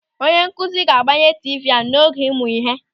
Onye nkụzi ga-agbanyụ tiivii ahụ n'oge ịmụ ihe.